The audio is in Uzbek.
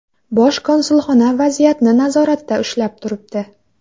Bosh konsulxona vaziyatni nazoratda ushlab turibdi.